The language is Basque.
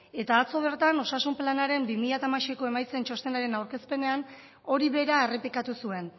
eta atzo bertan osasun planaren bi mila hamaseiko emaitzen txostenaren aurkezpenean hori bera errepikatu zuen